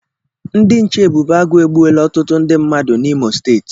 Ndị nche ebube agụ egbuola ọtụtụ ndị mmadụ n'Imo steeti